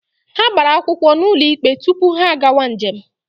Ha gbara akwụkwọ n'ụlọ ikpe tupu ha agawa njem.